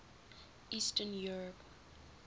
eastern europe